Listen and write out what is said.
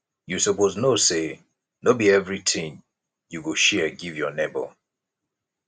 you suppose know sey no be everytin you go share give your nebor